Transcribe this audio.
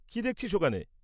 কী দেখছিস ওখানে?